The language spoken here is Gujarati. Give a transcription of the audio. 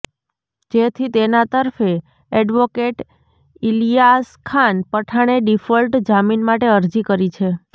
જેથી તેના તરફે એડવોકેટ ઇલીયાસખાન પઠાણે ડિફોલ્ટ જામીન માટે અરજી કરી છે